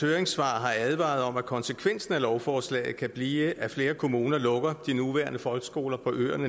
høringssvar har advaret om at konsekvensen af lovforslaget kan blive at flere kommuner lukker de nuværende folkeskoler på øerne